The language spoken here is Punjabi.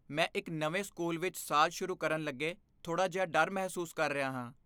ਮੈਂ ਇੱਕ ਨਵੇਂ ਸਕੂਲ ਵਿੱਚ ਸਾਲ ਸ਼ੁਰੂ ਕਰਨ ਲੱਗੇ ਥੋੜ੍ਹਾ ਜਿਹਾ ਡਰ ਮਹਿਸੂਸ ਕਰ ਰਿਹਾ ਹਾਂ।